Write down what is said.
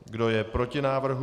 Kdo je proti návrhu?